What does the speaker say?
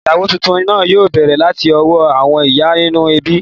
Ìyàwó tuntun náà yóò bẹ̀rẹ̀ láti ọwọ́ àwọn ìyá nínú ẹbí.